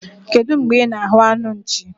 Kedụ mgbe ị na-ahụ anụ nchi?